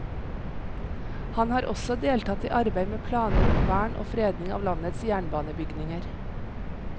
Han har også deltatt i arbeid med planer om vern og fredning av landets jernbanebygninger.